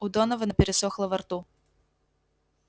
у донована пересохло во рту